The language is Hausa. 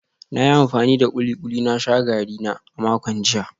Na yi amfani da kulikuli na sha garina a makon jiya